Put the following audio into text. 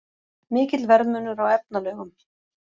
Mikill verðmunur á efnalaugum